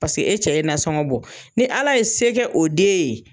Paseke e cɛ ye nansɔngɔ bɔ. Ni ala ye se kɛ o den ye